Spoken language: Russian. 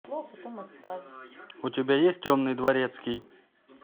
у тебя есть темный дворецкий